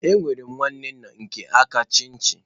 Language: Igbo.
Enwere m nwanne nna nke aka nchichi.